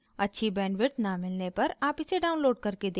अच्छी bandwidth न मिलने पर आप इसे download करके देख सकते हैं